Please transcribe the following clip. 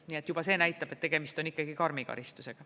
Nii et juba see näitab, et tegemist on karmi karistusega.